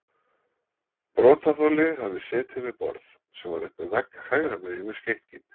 Brotaþoli hafi setið við borð, sem var upp við vegg hægra megin við skenkinn.